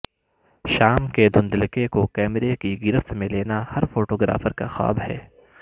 شام کے دھندلکے کو کیمرے کی گرفت میں لینا ہر فوٹوگرافر کا خواب ہے